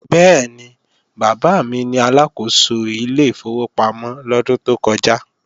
Bẹ́ẹ̀ni, bàbá mi ni Aláàkóso ilé ìfowópamọ́ lọ́dún tó kọja